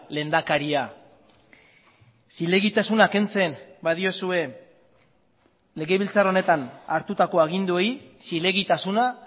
lehendakaria zilegitasuna kentzen badiozue legebiltzar honetan hartutako aginduei zilegitasuna